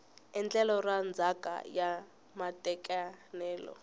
endlelo ra ndzhaka ya matekanelo